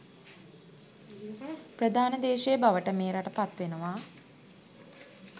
ප්‍රධාන දේශය බවට මේ රට පත් වෙනවා